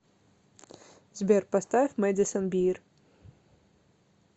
сбер поставь мэдисон бир